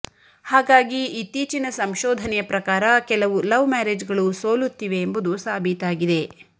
ಹಾಗಾಗಿ ಇತ್ತೀಚಿನ ಸಂಶೋಧನೆಯ ಪ್ರಕಾರ ಕೆಲವು ಲವ್ ಮ್ಯಾರೇಜ್ಗಳು ಸೋಲುತ್ತಿವೆ ಎಂಬುದು ಸಾಬೀತಾಗಿದೆ